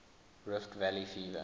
rift valley fever